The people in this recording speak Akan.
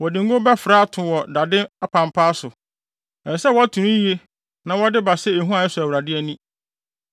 Wɔde ngo bɛfra ato wɔ dade apampaa so. Ɛsɛ sɛ wɔto no yiye na wɔde ba sɛ ehua a ɛsɔ Awurade nʼani.